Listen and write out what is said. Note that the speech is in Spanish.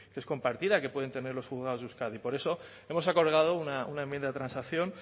es compartida que pueden tener los juzgados euskadi por eso hemos acordado una enmienda de transacción